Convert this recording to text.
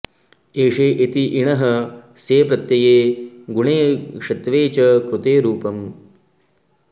एषे इति इणः सेप्रत्यये गुणे षत्वे च कृते रूपम्